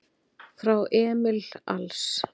Frá Emil Als